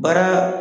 Baara